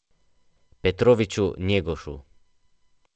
Petroviću Njegošu.